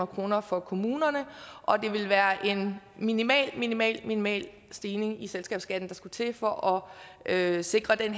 kroner for kommunerne og det ville være en minimal minimal minimal stigning i selskabsskatten der skal til for at sikre en